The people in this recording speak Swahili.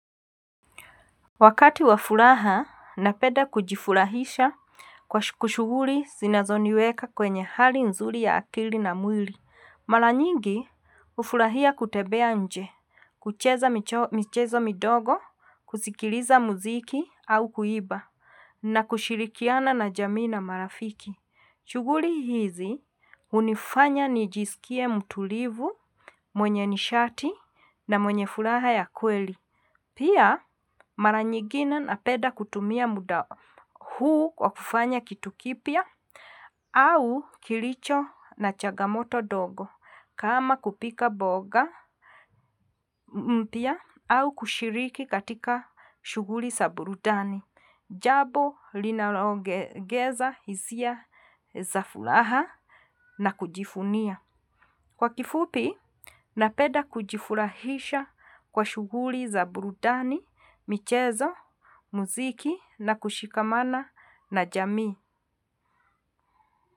Wakati wa furaha napenda kujifurahisha kwa shughuli zinazoniweka kwenye hali nzuri ya akili na mwili. Mara nyingi hufurahia kutembea nje, kucheza mchezo midogo, kusikiliza muziki au kuimba, na kushirikiana na jamii na marafiki. Shughuli hizi hunifanya nijiskie mtulivu, mwenye nishati na mwenye furaha ya kweli. Pia mara nyingine napenda kutumia muda huu kwa kufanya kitu kipya au kilicho na changamoto ndogo kama kupika mboga mpya au kushiriki katika shughuli za burudani jambo linaloongeza hisia za furaha na kujivunia. Kwa kifupi, napenda kujifurahisha kwa shughuli za burudani, michezo, muziki na kushikamana na jami.